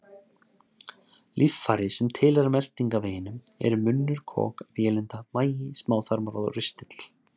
Líffæri sem tilheyra meltingarveginum eru munnur, kok, vélinda, magi, smáþarmar og ristill.